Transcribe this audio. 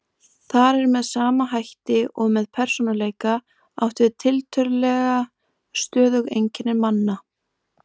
Þar er með sama hætti og með persónuleika átt við tiltölulega stöðug einkenni manna.